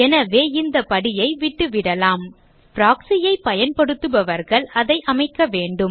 எனவே இந்த படியை விட்டுவிடலாம் proxy ஐ பயன்படுத்துபவர்கள் அதை அமைக்க வேண்டும்